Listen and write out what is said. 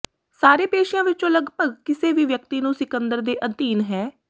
ਸਾਰੇ ਪੇਸ਼ਿਆਂ ਵਿਚੋਂ ਲਗਭਗ ਕਿਸੇ ਵੀ ਵਿਅਕਤੀ ਨੂੰ ਸਿਕੰਦਰ ਦੇ ਅਧੀਨ ਹੈ